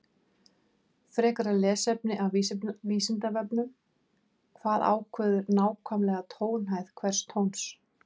Frekara lesefni af Vísindavefnum: Hvað ákveður nákvæmlega tónhæð hvers tóns?